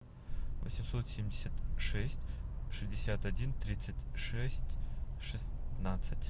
восемьсот семьдесят шесть шестьдесят один тридцать шесть шестнадцать